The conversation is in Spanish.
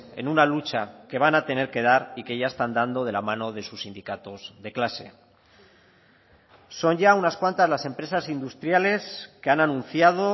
en una lucha que van a tener que dar y que ya están dando de la mano de sus sindicatos de clase son ya unas cuantas las empresas industriales que han anunciado